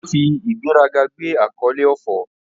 O fi igberaga gbe akole Ofor